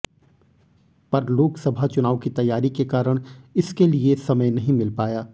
पर लोकसभा चुनाव की तैयारी के कारण इसके लिए समय नहीं मिल पाया